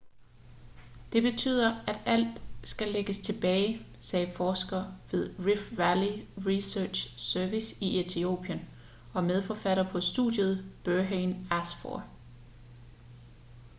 det betyder at alt skal lægges tilbage sagde forsker ved rift valley research service i etiopien og medforfatter på studiet berhane asfaw